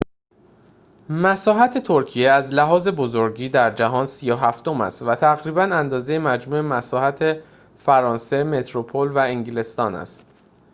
مساحت ترکیه از لحاظ بزرگی در جهان ۳۷ ام است و تقریباً اندازه مجموع مساحت فرانسه متروپل و انگلستان است